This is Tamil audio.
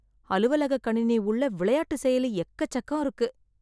அலுவலக கணினி உள்ள விளையாட்டு செயலி எக்கச்சக்கம் இருக்கு.